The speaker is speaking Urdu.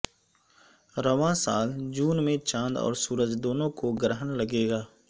رواں سال جون میں چاند اور سورج دونوں کو گرہن لگے گا